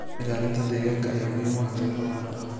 Ilaalinta deegaanka ayaa muhiim u ah beero waara.